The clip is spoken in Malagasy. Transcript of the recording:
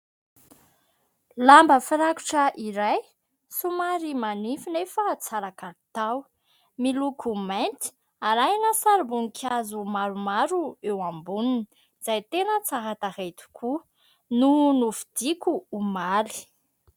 Lamba firakotra iray somary manify nefa tsara kalitao, miloko mainty arahina sarim-boninkazo maromaro eo amboniny izay tena tsara tarehy tokoa, no novidiako omaly.